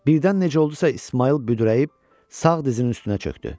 Birdən necə oldusa, İsmayıl büdrəyib, sağ dizinin üstünə çöktü.